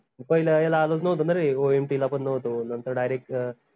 मी पहिल्या याला आलोच नव्हतो न रे OMT पण नव्हतो नंतर direct अं